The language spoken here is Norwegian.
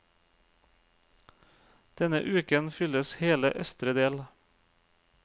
Denne uken fylles hele østre del.